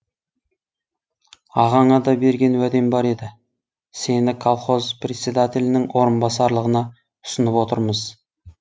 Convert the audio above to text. ағаңа да берген уәдем бар еді сені колхоз председателінің орынбасарлығына ұсынып отырмыз